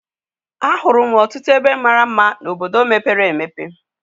A hụrụ m ọtụtụ ebe mara mma n'obodo mepere emepe.